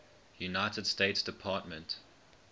united states department